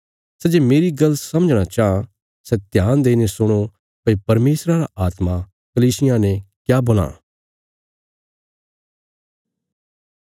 सै जे मेरी गल्ल समझणा चाँह सै ध्यान देईने सुणो भई परमेशरा रा आत्मा कलीसियां ने क्या बोलां